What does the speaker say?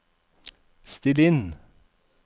still inn